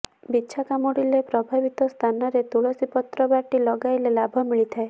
ବିଛା କାମୁଡ଼ିଲେ ପ୍ରଭାବିତ ସ୍ଥାନରେ ତୁଳସୀ ପତ୍ର ବାଟି ଲଗାଇଲେ ଲାଭ ମିଳିଥାଏ